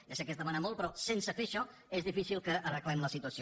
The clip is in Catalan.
ja sé que és demanar molt però sense fer això és difícil que arreglem la situació